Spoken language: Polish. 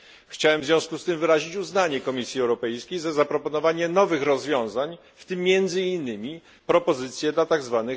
Chciałem w związku z tym wyrazić uznanie dla Komisji Europejskiej za zaproponowanie nowych rozwiązań, w tym między innymi propozycje dla tzw.